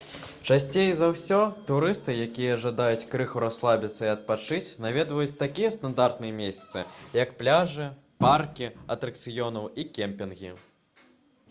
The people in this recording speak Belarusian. часцей за ўсё турысты якія жадаюць крыху расслабіцца і адпачыць наведваюць такія стандартныя месцы як пляжы паркі атракцыёнаў і кемпінгі